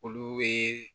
Olu bɛ